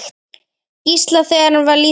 Gísla, þegar hann var lítill.